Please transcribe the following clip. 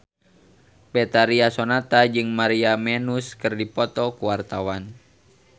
Betharia Sonata jeung Maria Menounos keur dipoto ku wartawan